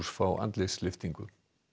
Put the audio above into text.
fá andlitslyftingu